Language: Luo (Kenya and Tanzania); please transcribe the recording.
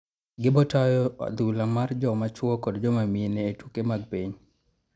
gi botayo adhula mar joma chuo kod jomamine e tuke mag piny